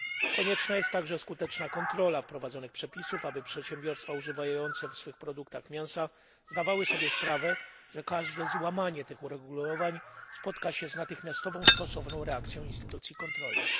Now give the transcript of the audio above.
Konieczna jest także skuteczna kontrola wprowadzonych przepisów, aby przedsiębiorstwa używające w swoich produktach mięsa zdawały sobie sprawę, że każde złamanie tych uregulowań spotka się z natychmiastową stosowną reakcją instytucji kontrolnych.